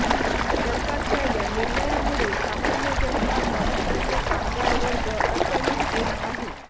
सरकारच्या या निर्णयामुळे सामान्य जनता प्रामुख्याने कामगार वर्ग अडचणीत येत आहे